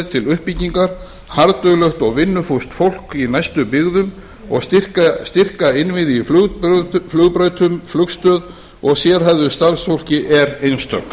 til uppbyggingar harðduglegt og vinnufúst fólk í næstu byggðum og styrka innviði í flugbrautum flugstöð og sérhæfðu starfsfólki er einstök